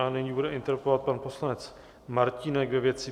A nyní bude interpelovat pan poslanec Martínek ve věci